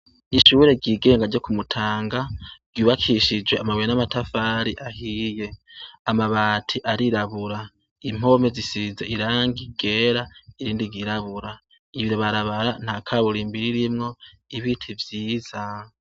Ishuri ryigenga ryo ku Mutanga ryubakishije amabuye n'amatafari ahiye, amabati arirabura impome zisize irangi ryera irindi ryirabura iri barabara nta kaburimbi ririmwo ibiti vyiza.